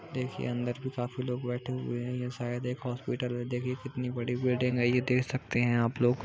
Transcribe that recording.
देखिए अंदर भी काफी लोग बैठे हुए है| शायद यह एक हॉस्पिटल है| देखिए कितनी बड़ी बिल्डिंग है यह देख सकते हैं आप लोग--